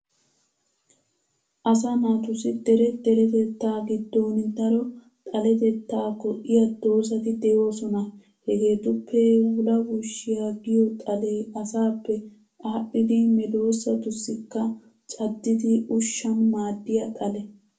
Asaa naatussi dere deretettaa giddon daro xaletetta go'iya doozzati de'oosona. Hegeetuppe wulawushiya giyo xalee asaappe adhdhidi medoosatussikka caddidi ushshan maaddiya xale.